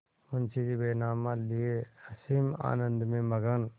मुंशीजी बैनामा लिये असीम आनंद में मग्न